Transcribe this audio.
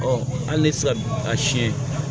hali ne tɛ se ka a siɲɛ